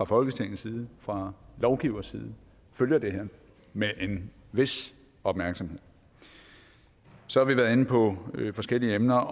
folketingets side fra lovgiveres side følger det her med en vis opmærksomhed så har vi været inde på forskellige emner